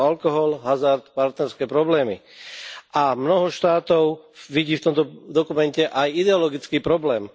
Sú to alkohol, hazard, partnerské problémy a mnoho štátov vidí v tomto dokumente aj ideologický problém.